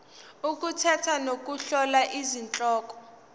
ukukhetha nokuhlola izihloko